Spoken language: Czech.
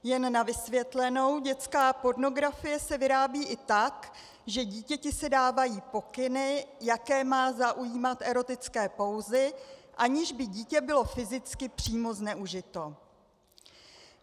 Jen na vysvětlenou, dětská pornografie se vyrábí i tak, že dítěti se dávají pokyny, jaké má zaujímat erotické pózy, aniž by dítě bylo fyzicky přímo zneužito.